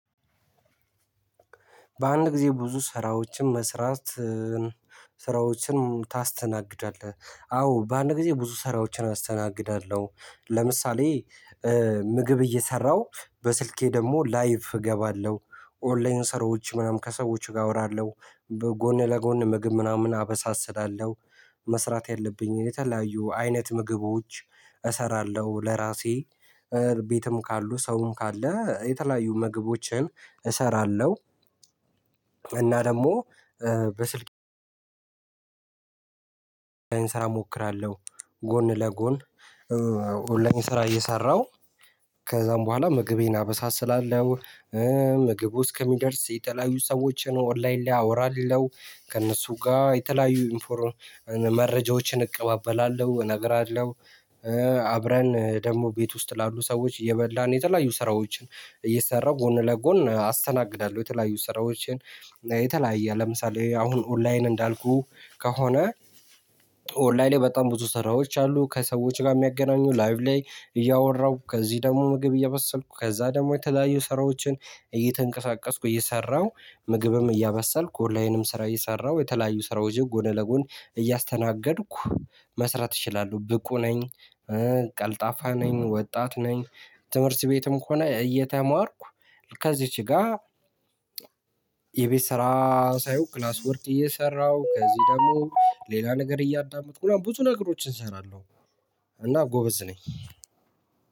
በአንድ ጊዜ ብዙ ስራዎችን መስራት ስራዎችን ታስተናግዳለህ? አዎ በአንድ ጊዜ ብዙ ስራዎችን አስተናግዳለሁ። ለምሳሌ ምግብ እየሰራሁ በስልኬ ደግሞ ላይቭ እገባለሁ፣ 'ኦንላይን' ሰራዎች ምናምን፣ ከሰዎች ጋር አወራለሁ፣ ጎን ለጎን ምግብ ምናምን አበሳስላለሁ፣ መስራት ያለብኝን የተለያዩ አይነት ምግቦች እሰራለሁ ለራሴ ቤትም ካሉ ሰውም ካለ የተለያዩ ምግቦችን እሰራለሁ። እና ደግሞ በስልኬ ኦንላይን ስራ እሞክራለሁ ጎን ለጎን ኦንላይን ስራ እየሰራሁ ከዛም በኋላ ምግቤን አበሳስላለሁ፣ ምግቡ እስከሚደርስ የተለያዩ ሰዎችን ኦንላይን ላይ አወራለሁ፤ ከእነሱ ጋር የተለያዩ መረጃዎችን እቀባበላለሁ እነግራለሁ። አብረን ደግሞ ቤት ውስጥ ላሉ ሰዎች እየበላን የተለያዩ ስራዎችን እየሰራሁ ጎን ለጎን አስተናግዳለሁ የተለያዩ ስራዎችን የተለያየ ለምሳሌ አሁን ኦንላይን እንዳልኩህ ከሆነ ኦንላይን ላይ በጣም ብዙ ስራዎች አሉ። ከሰዎች ጋር የሚያገናኙ ላይቭ ላይ እያወራሁ ከዚህ ደግሞ ምግብ እያበሰልኩ ከዛ ደግሞ የተለያዩ ስራዎችን እየተንቀሳቀስኩ እየሰራሁ ምግብም እያበሰልኩ ኦንላይንም ስራ እየሰራሁ የተለያዩ ስራዎችን ጎን ለጎን እያስተናገድኩ መስራት እችላለሁ ብቁ ነኝ ቀልጣፋ ነኝ። ወጣት ነኝ። ትምህርት ቤትም ከሆነ እየተማርኩ ከዚች ጋር የቤት ስራ ሳይሆን 'ክላስ ወርክ' እየሰራሁ ከዚህ ደግሞ ሌላ ነገር እያጠብኩ ምናምን ብዙ ነገሮችን እሰራለሁ። እና ጎበዝ ነኝ!